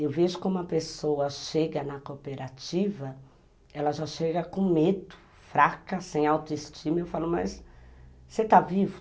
Eu vejo como a pessoa chega na cooperativa, ela já chega com medo, fraca, sem autoestima, e eu falo, mas você está vivo?